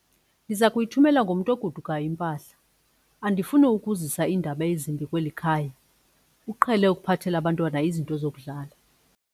Ndiza kuyithumela ngomntu ogodukayo impahla. andifuni ukuzisa iindaba ezimbi kweli khaya, uqhele ukuphathela abantwana izinto zokudlala